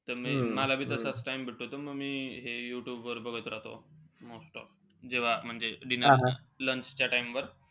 मला बी तसाच time त मी हे यूट्यूबवर बघत राहतो, most of. जेव्हा म्हणजे dinner lunch च्या time वर.